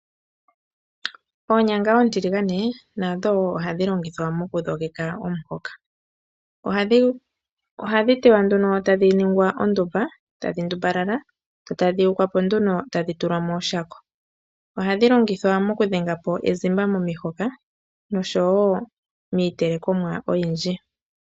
Oonyanga oontigalane nadho ohadhi longithwa moku dhogeka omuhoka , ohadhi teywa nduno tadhi ningwa ondumba tadhi ndumbalala tadhi yukwa po nduno tulwa moshako ohadhi longithwa oku kuthamo ezimba momuhoka noshowo miitele komwa oyindji.